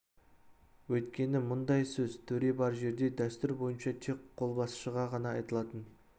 өйткені мұндай сөз төре бар жерде дәстүр бойынша тек қолбасшыға ғана айтылатын